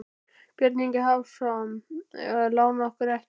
Björn Ingi Hrafnsson: Um að lána okkur ekki?